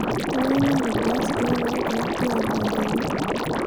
engae natodua isirkon ogira duo aadaa tene